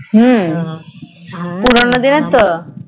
হম পুরোনো দিনের ত